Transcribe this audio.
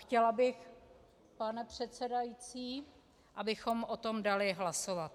Chtěla bych, pane předsedající, abychom o tom dali hlasovat.